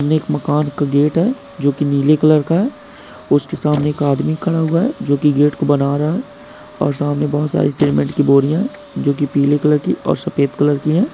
एक मकान का गेट है जो की नीले कलर का है। उसके सामने एक आदमी खड़ा हुआ हैजो की गेट को बना रहा है और सामने बहुत सारी सीमेंट की बोरियां। जो की पीले कलर की और सफेद कलर की है।